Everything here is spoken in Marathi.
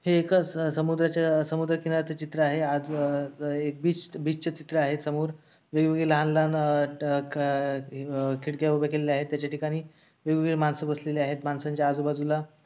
हे एका समुद्रच्या समुद्रकिनार्‍याचे चित्र आहे आजं अं बीच चं चित्र आहे समोर वेगवेगळे लहान लहान अह ट क अह खिडक्या उभे केलेले आहेत त्याच्या ठिकाणी वेगवेगळे माणसं बसलेले आहेत. माणसांच्या आजूबाजूला--